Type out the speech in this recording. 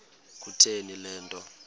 kutheni le nto